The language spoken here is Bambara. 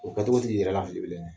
O kɛ tɔgɔ t'i yɛrɛ lafili bilen.